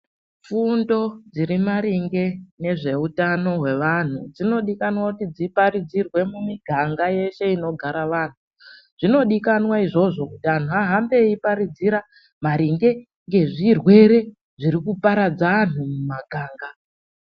Fundo dziri maringe nezveutano hwevanhu dzinodikanwa kuti dziparidzirwe mumiganga yese inogara vantu . Zvinodikana izvozvo kuti antu ahambe eiparidzira maringe ngezvirwere zviri kuparadza antu mumaganga .